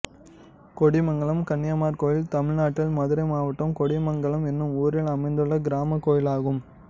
கொடிமங்கலம் கன்னிமார் கோயில் தமிழ்நாட்டில் மதுரை மாவட்டம் கொடிமங்கலம் என்னும் ஊரில் அமைந்துள்ள கிராமக் கோயிலாகும்